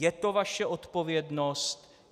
Je to vaše odpovědnost.